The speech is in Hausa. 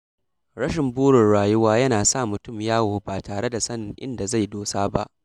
Rashin burin rayuwa yana sa mutum yawo ba tare da sanin inda zai dosa ba.